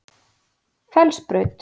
Fellsbraut